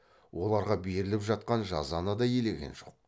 оларға беріліп жатқан жазаны да елеген жоқ